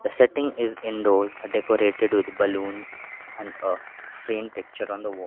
setting is indoors decorated with balloons and a frame picture on the wall.